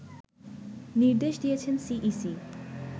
নির্দেশ দিয়েছেন সিইসি